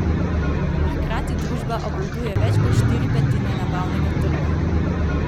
A hkrati družba obvladuje več kot štiri petine nabavnega trga.